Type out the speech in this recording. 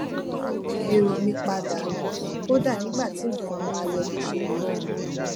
èrò mi padà kódà nígbà tí nǹkan ò bá lọ bó ṣe yẹ